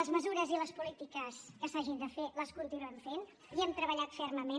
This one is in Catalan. les mesures i les polítiques que s’hagin de fer les continuem fent hi hem treballat fermament